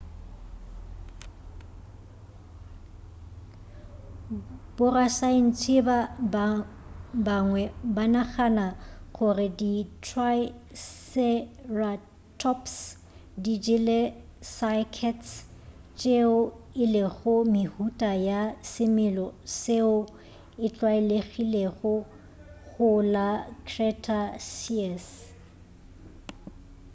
borasaentsheba bangwe banagana gore di triceratops di jele cycads tšeo e lego mehuta ya semela seo e tlwalegilego go la cretaceous